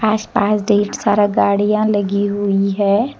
आज पास ढेर सारा गाड़ियां लगी हुई है।